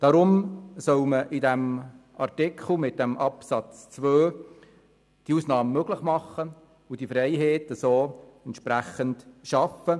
Deshalb soll Artikel 176 Absatz 2 diese Ausnahme ermöglichen und diese Freiheit entsprechend schaffen.